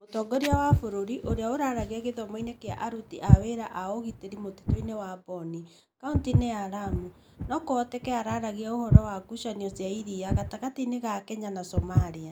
Mũtongoria wa bũrũri, ũrĩa araragia gĩthomoinĩ kĩa aruti a wĩra a ũgitĩri mũtitũ-inĩ wa Boni, kaunti-inĩ ya Lamu, no kũhoteke aaragia ũhoro wa ngucanio cia iria gatagatĩ ga Kenya na Somalia.